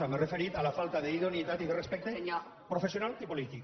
m’he referit a la falta d’idoneïtat i de respecte professional i polític